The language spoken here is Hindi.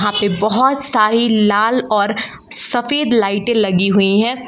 बहुत सारी लाल और सफेद लाइटे लगी हुई हैं।